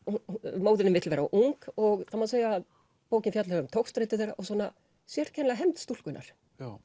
móðirin vill vera ung og það má segja að bókin fjalli um togstreitu þeirra og sérkennilega hefnd stúlkunnar